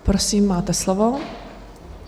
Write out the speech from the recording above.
Prosím, máte slovo.